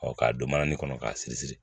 k'a don manani kɔnɔ k'a siri siri